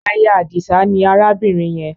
Aya Àdìsá ni arábìnrin yẹn